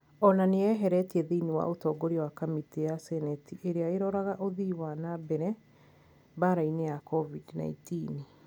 Ona nieheritie thiinie wa utongoria wa kamiti ya seneti iria iroraga uthii wa nambere mbara-ini ya Covid-19.